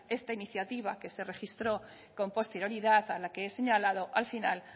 esta iniciativa que se registró con posterioridad a la que he señalado al final